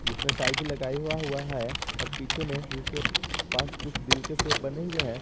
इसने टाइ भी लगे हुआ हुआ है और पीछे में इसके पास कुछ दिल के सेप बने हुए हैं।